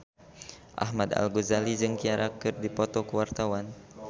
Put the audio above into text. Ahmad Al-Ghazali jeung Ciara keur dipoto ku wartawan